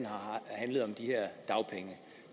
har handlet om de her dagpenge